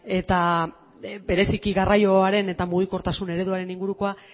eta bereziki garraioaren eta mugikortasun ereduaren ingurukoa